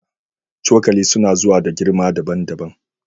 Cokali suna zuwa da girma daban-daban